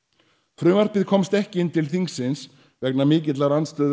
frumvarpið komst ekki inn til þingsins vegna mikillar andstöðu